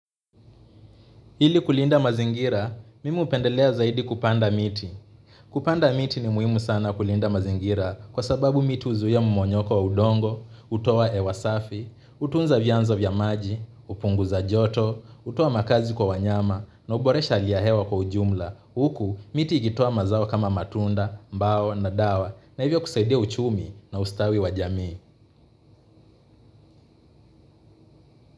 Ili kulinda mazingira, mimi hupendelea zaidi kupanda miti. Kupanda miti ni muhimu sana kulinda mazingira kwa sababu miti huzuia mmonyoko wa udongo, hutoa hewa safi, hutunza vyanzo vya maji, hupunguza joto, hutoa makazi kwa wanyama na huboresha hali ya hewa kwa ujumla. Huku, miti ikitoa mazao kama matunda, mbao na dawa na hivyo kusaidia uchumi na ustawi wa jamii.